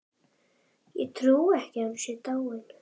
Ég trúi ekki að hún sé dáin.